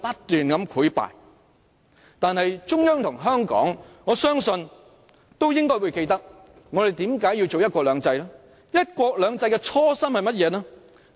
但我相信中央和香港都應會記得為何我們要實行"一國兩制"，"一國兩制"的初衷是甚麼呢？